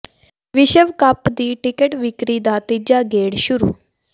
ਵਿਸ਼ਵ ਕੱਪ ਦੀ ਟਿਕਟ ਵਿੱਕਰੀ ਦਾ ਤੀਜਾ ਗੇੜ ਸ਼ੁਰੂ